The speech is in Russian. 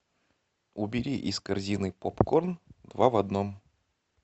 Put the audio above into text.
убери из корзины попкорн два в одном